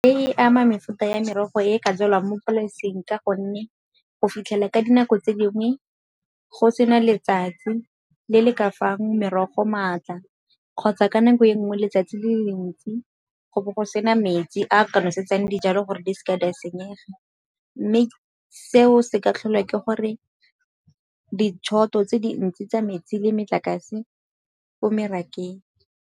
E ama mefuta ya merogo e ka jelwang mo polaseng ka gonne go fitlhela ka dinako tse dingwe go sena letsatsi le le ka fang merogo maatla, kgotsa ka nako e nngwe letsatsi le le dintsi go bo go sena metsi a ka nosetsang dijalo gore di seke di a senyega. Mme seo se ka tlholwa ke gore di tse dintsi tsa metsi le motlakase ko merakeng.